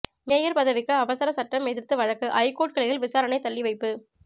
mayor பதவிக்கு அவசர சட்டம் எதிர்த்து வழக்கு ஐகோர்ட் கிளையில் விசாரணை தள்ளிவைப்பு